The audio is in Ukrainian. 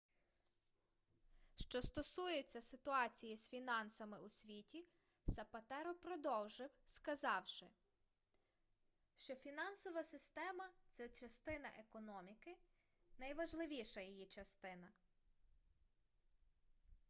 що стосується ситуації з фінансами у світі сапатеро продовжив сказавши що фінансова система це частина економіки найважливіша її частина